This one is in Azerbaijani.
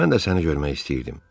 Mən də səni görmək istəyirdim.